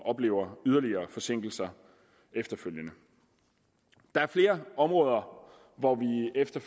oplever yderligere forsinkelser efterfølgende der er flere områder hvor vi efter